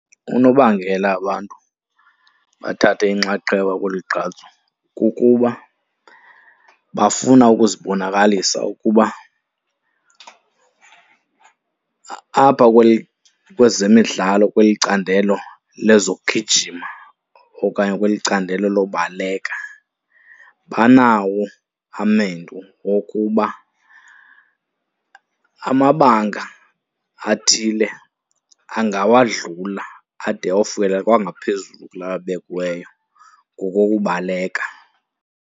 Unobangela abantu bathathe inxaxheba kolu gqatso kukuba bafuna ukuzibonakalisa ukuba apha kwezemidlalo kweli candelo lezokugijima okanye kweli candelo lobaleka banawo amendu wokuba amabanga athile angawadlula ade ayofikelela kwangaphezulu kula abekiweyo ngokokubaleka.